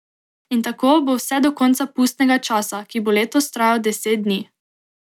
In tako bo vse do konca pustnega časa, ki bo letos trajal deset dni.